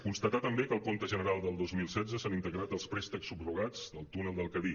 constatar també que al compte general del dos mil setze s’han integrat els préstecs subro·gats del túnel del cadí